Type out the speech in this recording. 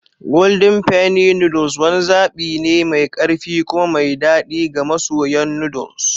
Golden Penny noodles wani zaɓi ne mai ƙarfi kuma mai daɗi ga masoyan noodle.